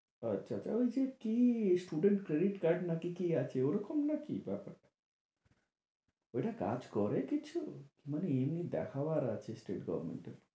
আচ্ছা আচ্ছা আচ্ছা, ঐযে কী student credit card নাকি কী আছে ওরকম নাকি ব্যাপারটা? ঐটা কাজ করে কিছু মানে এমনি দেখাবার আছে state government কে?